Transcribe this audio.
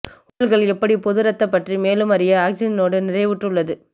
உடல்கள் எப்படி பொது இரத்த பற்றி மேலும் அறிய ஆக்ஸிஜனோடு நிறைவுற்ற உள்ளது